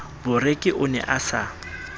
boreki o ne a sa